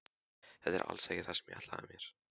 Þetta er alls ekki það sem ég ætlaði mér.